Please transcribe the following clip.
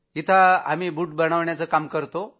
आम्ही इथं बूट बनवण्याचं काम करतो